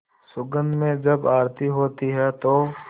सुगंध में जब आरती होती है तो